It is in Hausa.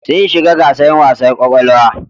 Sun shiga gasar wasa ƙwaƙwalwa.